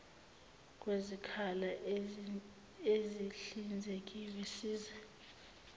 kwezikhala ezihlinzekiwe siza